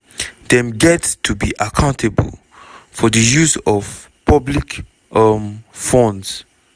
dem get to be accountable for di use of public um funds.